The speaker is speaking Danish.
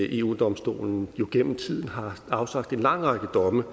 eu domstolen gennem tiden har afsagt en lang række domme